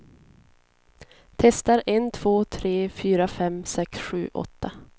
Testar en två tre fyra fem sex sju åtta.